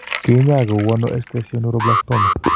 Kiny'aay ko uu ne esthesioneuroblastoma?